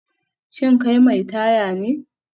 Shin kai mai taya ne?